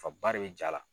Faba de be ja la